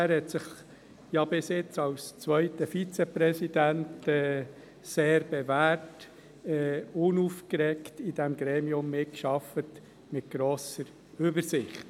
Er hat sich bisher als zweiter Vizepräsident sehr bewährt, hat unaufgeregt und mit grosser Übersicht in diesem Gremium mitgearbeitet.